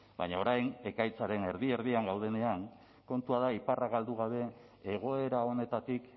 baina orain ekaitzaren erdi erdian gaudenean kontua da iparra galdu gabe egoera honetatik